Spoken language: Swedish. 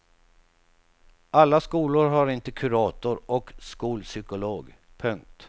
Alla skolor har inte kurator och skolpsykolog. punkt